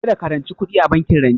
Kada ka ranci kuɗi a bankin rance